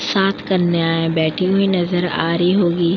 सात कन्याएं बैठी हुई नजर आ रही होगी।